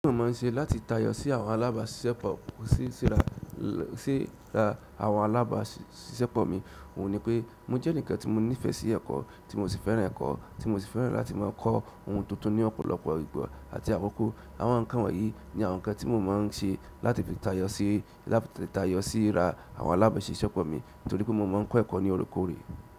Ohun tí mo máa ń ṣe láti tayọ sí àwọn alábàṣiṣẹ́pọ̀, sí ra àwọn alábàṣiṣẹ́pọ̀ mi, òun ni pé mo jẹ́ enikan tí mo nífẹ̀ sí ẹ̀kọ́, tí mo sì fẹ́ràn ẹ̀kọ́, tí mo sì fẹ́ràn láti máa kọ́ ohun tuntun ní ọ̀pọ̀lọpọ̀ ìgbà àti àkókò. Àwọn ǹkan wọ̀nyí ní àwọn ǹkan tí mo máa ń ṣe láti lè tayọ sí ra àwọn alábàṣiṣẹ́pọ̀ mi nítorí pé mo máa ń kọ́ ẹ̀kọ́ ní loorekoore.